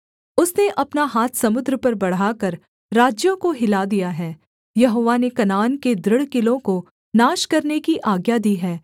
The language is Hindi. उसने अपना हाथ समुद्र पर बढ़ाकर राज्यों को हिला दिया है यहोवा ने कनान के दृढ़ किलों को नाश करने की आज्ञा दी है